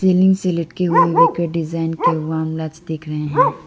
Ceiling से लटके हुए विकर डिजाइन के वॉर्म लाइट्स दिख रहे हैं।